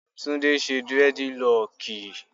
Tunde ṣe durediloki.